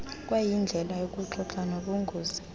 ikwayindlela yokuxoxa ngobungozi